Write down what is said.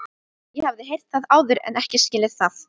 Ég hafði heyrt það áður en ekki skilið það.